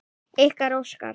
Ykkar, Óskar.